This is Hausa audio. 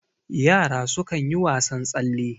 yara sukan yi wasan tsalle